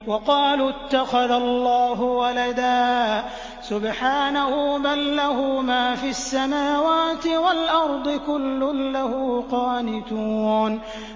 وَقَالُوا اتَّخَذَ اللَّهُ وَلَدًا ۗ سُبْحَانَهُ ۖ بَل لَّهُ مَا فِي السَّمَاوَاتِ وَالْأَرْضِ ۖ كُلٌّ لَّهُ قَانِتُونَ